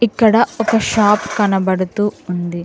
ఇక్కడ ఒక షాప్ కనబడుతూ ఉంది.